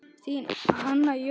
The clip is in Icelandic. Þín, Hanna Jóna.